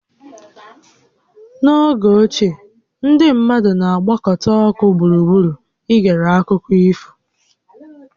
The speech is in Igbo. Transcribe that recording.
N'oge ochie, ndị mmadụ na-agbakọta ọkụ gburugburu i gere akụkọ ifo